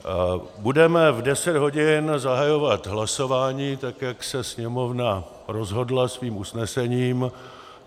Budeme v 10 hodin zahajovat hlasování, tak jak se Sněmovna rozhodla svým usnesením.